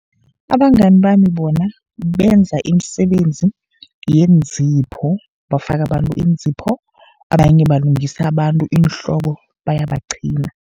Abangani bami bona benza imisebenzi yeenzipho, bafaka abantu iinzipho. Abanye balungisa abantu iinhloko bayabaqhina.